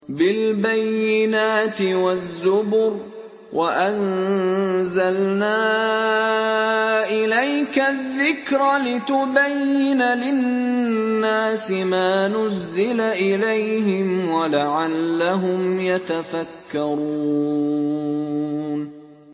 بِالْبَيِّنَاتِ وَالزُّبُرِ ۗ وَأَنزَلْنَا إِلَيْكَ الذِّكْرَ لِتُبَيِّنَ لِلنَّاسِ مَا نُزِّلَ إِلَيْهِمْ وَلَعَلَّهُمْ يَتَفَكَّرُونَ